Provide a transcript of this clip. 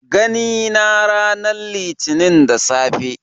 Gani na ranar litinin da safe